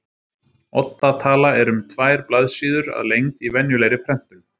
Odda tala er um tvær blaðsíður að lengd í venjulegri prentun.